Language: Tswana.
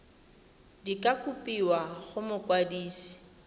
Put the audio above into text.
di ka kopiwa go mokwadise